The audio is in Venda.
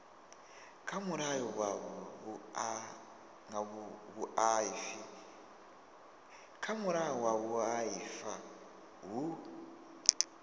kha mulayo wa vhuaifa hu